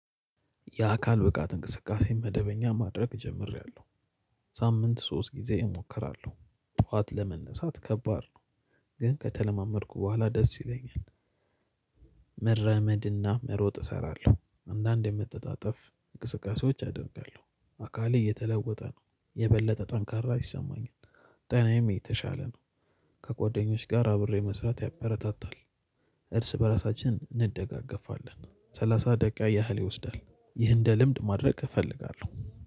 የአካል ብቃት እንቅስቃሴ መደበኛ ማድረግ ጀምሬያለሁ። ሳምንት ሶስት ጊዜ እሞክራለሁ። ጠዋት ለመነሳት ከባድ ነው። ግን ከተለማመድኩ በኋላ ደስ ይለኛል። መረመድና መሮጥ እሰራለሁ። አንዳንዴ መተጣጠፍ እንቅስቃሴዎች አደርጋለሁ አካሌ እየተለወጠ ነው የበለጠ ጠንካራ ይሰማኛል። ጤናዬም የተሻለ ነው ከጎደኞች ጋር አብሬ መስራት ያበረታታል። እርስ በራሳችን እንደጋገፋለን ሰላሳ ደቂቃ ያህል ይወስዳል። ይህ እንደ ልምድ ማድረግ እፈልጋለሁ።